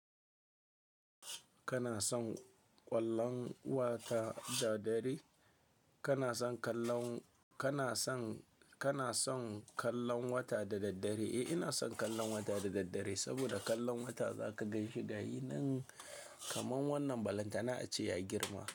Kana son ƙwallon wata da daddare? Kana son kallon, kana son, kana son kallon wata da daddare? Eh, ina son kallon wata da daddare saboda kallon wata za ka ganshi da yin nan kaman wannan balantana ace ya girma.